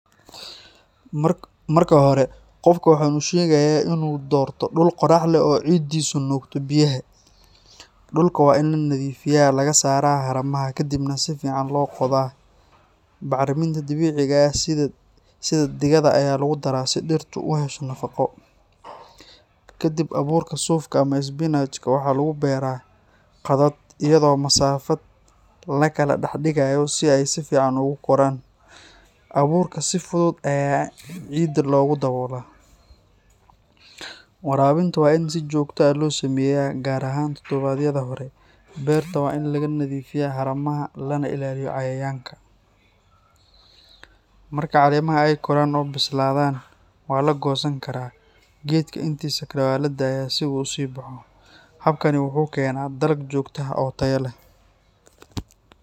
Marka hore, qofka waxaan u sheegayaa inuu doorto dhul qorax badan oo ciiddiisu nuugto biyaha. Dhulka waa in la nadiifiyaa, laga saaraa haramaha, kadibna si fiican loo qodaa. Bacriminta dabiiciga ah sida digada ayaa lagu daraa si dhirtu u hesho nafaqo. Kadib, abuurka suufka ama isbinaajka waxaa lagu beeraa khadad, iyadoo masaafad la kala dhex dhigayo si ay si fiican ugu koraan. Abuurka si fudud ayaa ciidda loogu daboolaa. Waraabinta waa in si joogto ah loo sameeyaa, gaar ahaan toddobaadyada hore. Beerta waa in laga nadiifiyaa haramaha lana ilaaliyo cayayaanka. Marka caleemaha ay koraan oo bislaadaan, waa la goosan karaa. Geedka intiisa kale waa la daayaa si uu u sii baxo. Habkani wuxuu keenaa dalag joogto ah oo tayo leh.